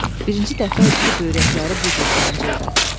Birinci dəfə idi ki, böyrəkləri bu cür sancırdı.